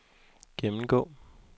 gennemgå